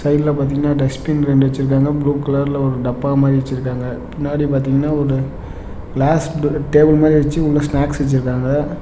சைடுல பாத்தீங்ன்னா டஸ்ட்பின் ரெண்டு வெச்சுருக்காங்க ப்ளூ கலர்ல ஒரு டப்பா மாரி வெச்சுருக்காங்க பின்னாடி பாத்தீங்கன்னா ஒரு கிளாஸ் டேபிள் மாரி வெச்சு உள்ள ஸ்னாக்ஸ் வெச்சுருக்காங்க.